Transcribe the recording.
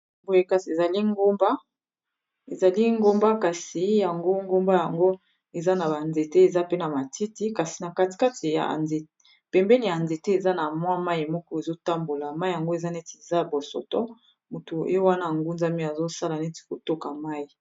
boye kasi ezali ngomba kasi yango ngomba yango eza na banzete eza pe na matiti kasi na katikati ypembeni ya nzete eza na mwa mai moko ezotambola mai yango eza neti za bosoto moto e wana ngunzami azosala neti kotoka mai